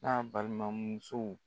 K'a balimamusow